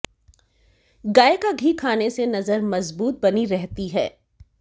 गाय का घी खाने से नजर मजबूत बनी रहती है